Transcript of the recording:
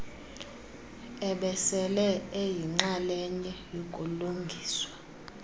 ebesele eyinxalenye yokulungiswa